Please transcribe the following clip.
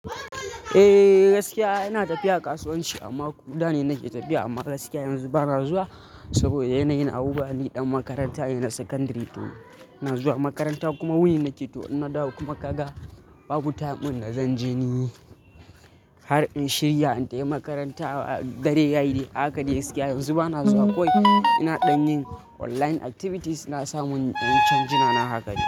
Eh gaskiya ina tafiya kasuwanci amma ko da ne nake tafiya amma gaskiya yanzu bana zuwa saboda yanayin abu bani ɗan makaranta ina sakandari to ina zuwa makaranta kuma wuni nake to nada kuma kaga babu time ina zan je ne har in shirya in tafi makaranta dare yayi a haka dai gaskiya yanzu bana zuwa kawai ina ɗan yin online activities ina samun ɗan canjina na haka.